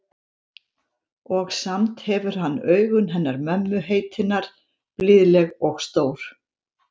Og samt hefur hann augun hennar mömmu heitinnar, blíðleg og stór.